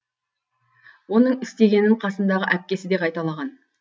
оның істегенін қасындағы әпкесі де қайталаған